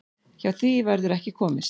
Hjá því verður ekki komist.